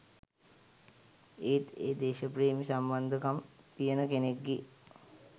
ඒත් ඒ දේශප්‍රේමි සම්බන්ධකම් තියෙන කෙනෙක්ගේ